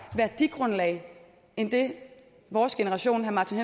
værdigrundlag end det vores generation herre martin